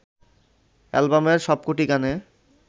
অ্যালবামের সবকটি গানে